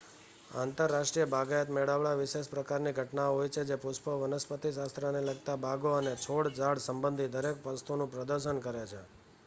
આંતરરાષ્ટ્રીય બાગાયત મેળાવડા વિશેષ પ્રકારની ઘટનાઓ હોય છે જે પુષ્પો વનસ્પતિશાસ્ત્રને લગતા બાગો અને છોડ-ઝાડ સંબંધિત દરેક વસ્તુનું પ્રદર્શન કરે છે